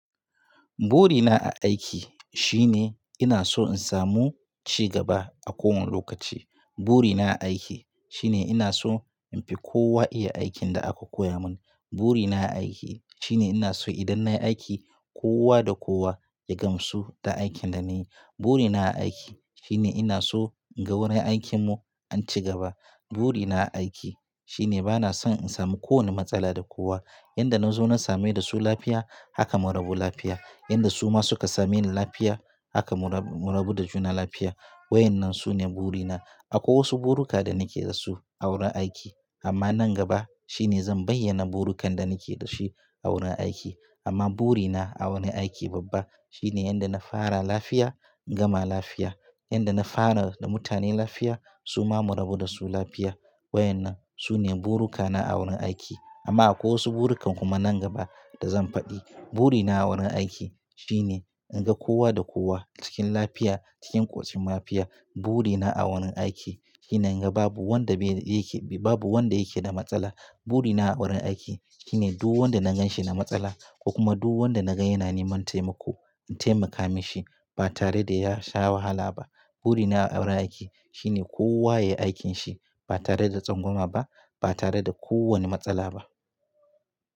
Burina a aiki shine ina so in samu cigaba a kowane lokaci. Burina a aiki shine ina so in fi kowa iya aikin da aka koya mun. Burina a aiki shine ina so idan nayi aiki kowa da kowa ya gamsu da aikin da na yi. Burina a aiki shine ina so inga wurin aikinmu an cigaba. Burina a aiki shine bana son in samu kowane matsala da kowa. Yanda na zo na same da su lafiya haka mu rabu lafiya. Yanda su ma suka same ni lafiya haka mu rabu da juna lafiya. Wai nan sune burina. Akwai wasu buruka da nake da su a wurin aiki amma nan gaba shine zan bayyana burukan da nake dashi a wurin aiki. Amma burina a wani aiki babba shine yanda na fara lafiya in gama lafiya. Yanda na fara da mutane lafiya su ma mu rabu da su lafiya. Waɗannan su ne burukana a wurin aiki. Amma akwai wasu burukan kuma nan gaba da zan faɗi. Burina a wurin aiki shine inga kowa da kowa cikin lafiya, cikin koshin lafiya. Burina a wurin aiki shine inga babu wanda yake, babu wanda yake da matsala. Burina a wurin aiki shine duk wanda na ganshi da matsala ko kuma duk wanda naga yana neman taimako in taimaka mashi ba tare da ya sha wahala ba. Burina a wurin aiki shine kowa ya yi aikin shi ba tare da tsangwama ba, ba tare da kowane matsala ba.